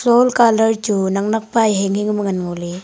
wall colour chu naknak pa e hinghing ma ngan ngoley.